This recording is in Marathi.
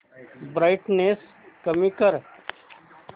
ब्राईटनेस कमी कर